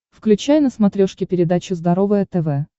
включай на смотрешке передачу здоровое тв